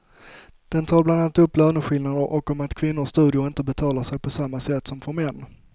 Den tar bland annat upp löneskillnader och om att kvinnors studier inte betalar sig på samma sätt som för män.